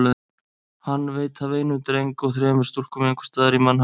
Hann veit af einum dreng og þremur stúlkum einhvers staðar í mannhafinu.